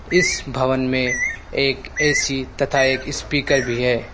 इस भवन में एक ए_सी तथा एक स्पीकर भी है।